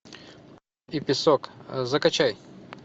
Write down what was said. и песок закачай